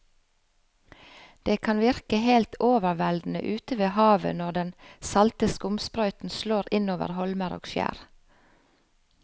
Det kan virke helt overveldende ute ved havet når den salte skumsprøyten slår innover holmer og skjær.